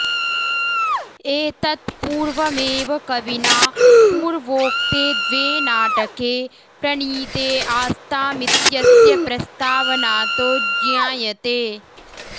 एतत्पूर्वमेव कविना पूर्वोक्ते द्वे नाटके प्रणीते आस्तामित्यस्य प्रस्तावनातो ज्ञायते